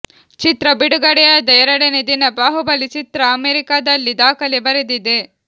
ಚಿತ್ರ ಬಿಡುಗಡೆಯಾದ ಎರಡನೇ ದಿನ ಬಾಹುಬಲಿ ಚಿತ್ರ ಅಮೆರಿಕಾದಲ್ಲಿ ದಾಖಲೆ ಬರೆದಿದೆ